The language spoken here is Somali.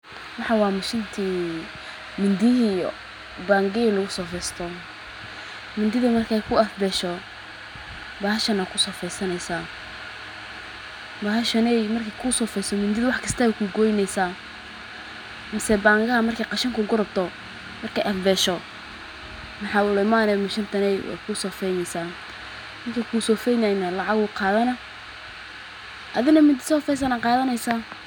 waxaan wa mashintii, mindiyo baangeli u sofeesto? Mindiga markay ku afbeyso baaheshana ku sofeysaneysa. Baahesheenay markay ku sofeysan midid way kastoo ku goyneysa. Maase banga markay qashan ku korobto markay afbeyso. Maxaa la umaaniy mishinta bey ku sofiyeeneysan markay ku sofiyeena lacagu qaadhana adina mindi sofeysana qaadanaysa.